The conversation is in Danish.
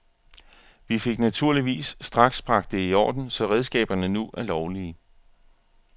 Vi fik naturligvis straks bragt det i orden, så redskaberne nu er lovlige.